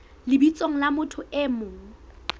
lebitsong la motho e mong